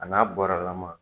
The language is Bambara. A n'a bɔrɛlaman.